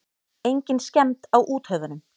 Engin skemmd á úthöfunum.